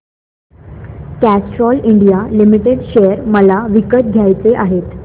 Castrol India limited share मला विकत घ्यायचे आहेत